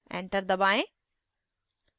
enter दबाएं